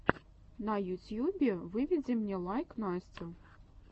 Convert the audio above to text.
на ютьюбе выведи мне лайк настю